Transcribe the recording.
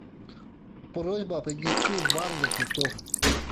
просьба принести вазу для цветов